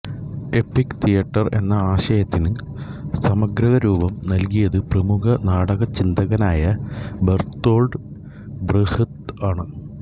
EPIC theatre എന്ന ആശയത്തിന് സമഗ്രരൂപം നല്കിയത് പ്രമുഖ നാടകചിന്തകനായ ബെർത്തോൾട് ബ്രെഹ്ത് ആണ്